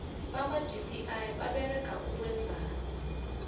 bakwa gti baberega ukwenzani